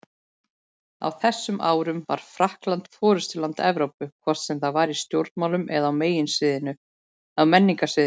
Á þessum árum var Frakkland forystuland Evrópu, hvort sem var í stjórnmálum eða á menningarsviðinu.